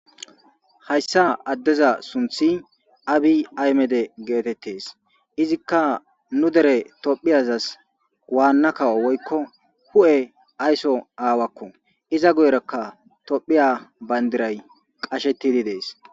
Hayssa addeza sunthi abi aymede geetettes izikka nu dere tophiyazas waannakawo woykko hu'e aysso aawakko iza goyraka tophiya bandiray qashettidi dees.